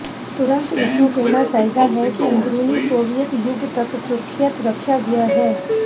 ਤੁਰੰਤ ਇਸ ਨੂੰ ਕਹਿਣਾ ਚਾਹੀਦਾ ਹੈ ਕਿ ਅੰਦਰੂਨੀ ਸੋਵੀਅਤ ਯੁੱਗ ਤੱਕ ਸੁਰੱਖਿਅਤ ਰੱਖਿਆ ਗਿਆ ਹੈ